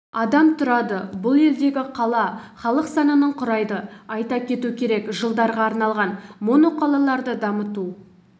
адам тұрады бұл елдегі қала халық санының құрайды айта кету керек жылдарға арналған моноқалаларды дамыту